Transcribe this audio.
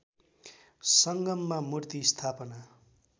सङ्गममा मूर्ति स्थापना